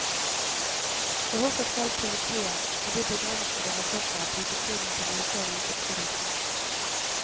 Og hvorfor skal politiet, med de begrensede ressurser, bruke tiden på noe så lite produktivt.